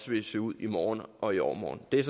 vil se ud i morgen og i overmorgen det er